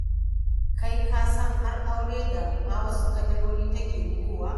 Kai ka ko san har aure da ma wasu kadarori take bugowa!